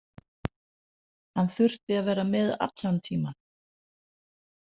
Hann þurfti að vera með allan tímann.